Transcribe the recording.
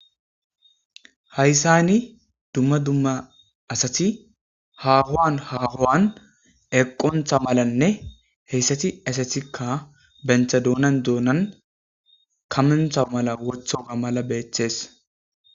hayssani dumma dumma asati hahowan haahowan eqontha malanne heyssati esetikka bentha doonan duonan kamentha mala wotho ga mala beeththees